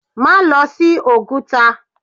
Má lọ sí Oguta!